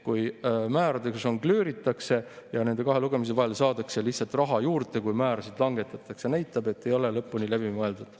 Kui määradega žongleeritakse ja nende kahe lugemise vahel saadakse lihtsalt raha juurde, kui määrasid langetatakse, siis see näitab, et see ei ole lõpuni läbi mõeldud.